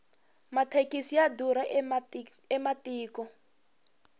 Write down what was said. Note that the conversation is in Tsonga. mathekisi ya durha ematiko